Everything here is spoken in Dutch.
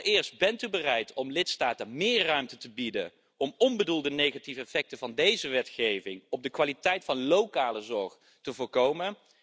Allereerst, bent u bereid om lidstaten meer ruimte te bieden om onbedoelde negatieve effecten van deze wetgeving op de kwaliteit van lokale zorg te voorkomen?